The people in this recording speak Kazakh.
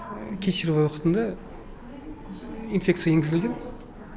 кесарево уақытында инфекция енгізілді